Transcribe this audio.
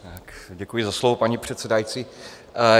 Děkuji za slovo, paní předsedající.